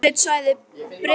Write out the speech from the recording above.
Á eftirlitssvæði Breta fyrir